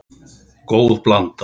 Góð blanda.